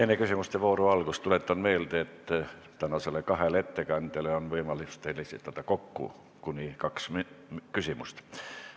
Enne küsimuste vooru algust tuletan meelde, et tänasele kahele ettekandjale on teil võimalik esitada kokku kuni kaks küsimust.